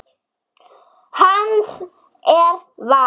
Hans er valið.